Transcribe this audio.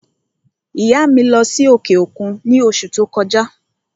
ìyá à mi lọ́ sí òkè òkun ní òṣù ti o kọjá.